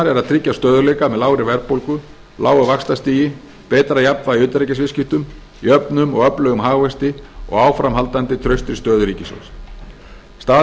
að tryggja stöðugleika með lágri verðbólgu lágu vaxtastigi betra jafnvægi í utanríkisviðskiptum jöfnum og öflugum hagvexti og áframhaldandi traustri stöðu ríkissjóðs staða